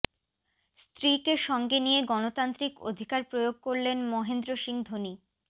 স্ত্রীকে সঙ্গে নিয়ে গণতান্ত্রিক অধিকার প্রয়োগ করলেন মহেন্দ্র সিং ধোনি